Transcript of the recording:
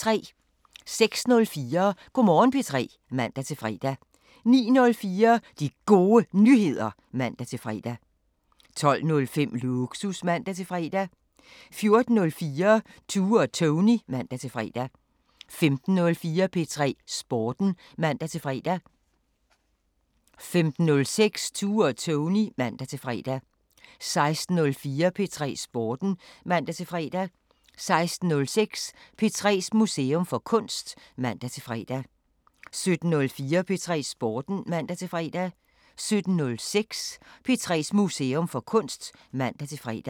06:04: Go' Morgen P3 (man-fre) 09:04: De Gode Nyheder (man-fre) 12:05: Lågsus (man-fre) 14:04: Tue og Tony (man-fre) 15:04: P3 Sporten (man-fre) 15:06: Tue og Tony (man-fre) 16:04: P3 Sporten (man-fre) 16:06: P3s Museum for Kunst (man-fre) 17:04: P3 Sporten (man-fre) 17:06: P3s Museum for Kunst (man-fre)